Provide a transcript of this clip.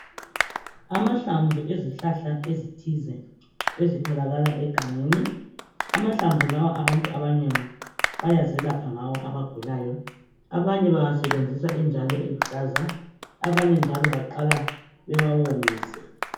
Amahlamvu ezihlahla ezithize ezitholakala egangeni amahlamvu lawa abantu abanengi bayazelapha ngawo abagulayo abanye bawasebenzisa enjalo eluhlaza abanye njalo baqala bewawomise.